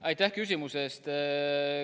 Aitäh küsimuse eest!